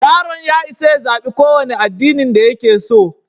Yaron ya isa ya zaɓi ƙowane addinin da yake so.